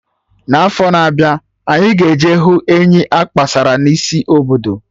Na afọ na-abịa, anyị ga eje hụ enyi akpọsara na isi obodo